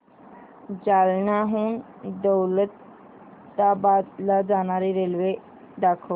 जालन्याहून दौलताबाद ला जाणारी रेल्वे दाखव